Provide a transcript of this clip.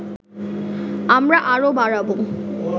আমরা আরও বাড়াবো